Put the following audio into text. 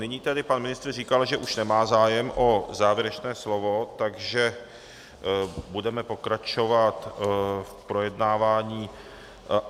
Nyní tedy pan ministr říkal, že už nemá zájem o závěrečné slovo, takže budeme pokračovat v projednávání.